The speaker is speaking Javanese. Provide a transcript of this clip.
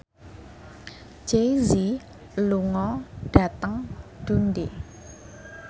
Jay Z lunga dhateng Dundee